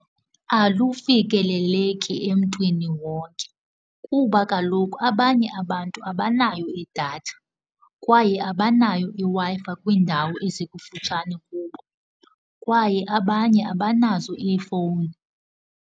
Alufikeleleki emntwini wonke kuba kaloku abanye abantu abanayo idatha kwaye abanayo iWi-Fi kwiindawo ezikufutshane kubo, kwaye abanye abanazo iifowuni.